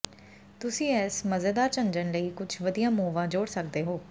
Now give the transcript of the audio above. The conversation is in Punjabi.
ਤੁਸੀਂ ਇਸ ਮਜ਼ੇਦਾਰ ਝੰਝਣ ਲਈ ਕੁਝ ਵਧੀਆ ਮੋਹਵਾਂ ਜੋੜ ਸਕਦੇ ਹੋ